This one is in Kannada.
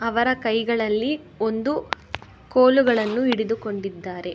ಅವರ ಕೈಗಳಲ್ಲಿ ಒಂದು ಕೋಲುಗಳನ್ನು ಹಿಡಿದುಕೊಂಡಿದ್ದಾರೆ.